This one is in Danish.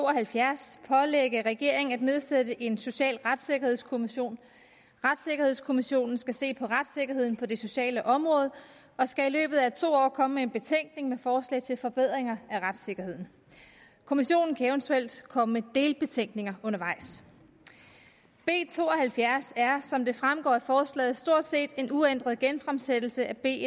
og halvfjerds pålægge regeringen at nedsætte en social retssikkerhedskommission retssikkerhedskommissionen skal se på retssikkerheden på det sociale område og skal i løbet af to år komme med en betænkning med forslag til forbedringer af retssikkerheden kommissionen kan eventuelt komme med delbetænkninger undervejs b to og halvfjerds er som det fremgår af forslaget stort set en uændret genfremsættelse af b